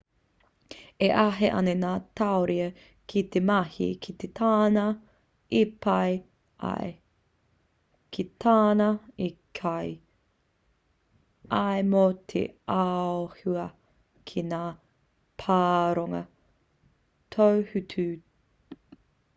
e āhei ana ngā tauira ki te mahi ki tāna i pai ai ki tāna i kī ai mō te āhua ki ngā pārongo tohutohu